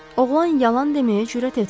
Oğlan yalan deməyə cürət etmədi.